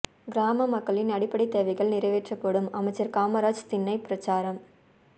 கிராம மக்களின் அடிப்படைத் தேவைகள் நிறைவேற்படும் அமைச்சா் காமராஜ் திண்ணைப் பிரசாரம்